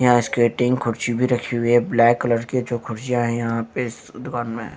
यहां स्केटिंग कुर्सी भी रखी हुई है ब्लैक कलर की जो कुर्सियां हैं यहां पे इस दुकान में--